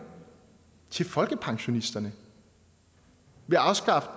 til folkepensionisterne ved at afskaffe